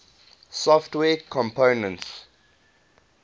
software components